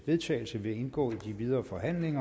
vedtagelse vil indgå i den videre forhandling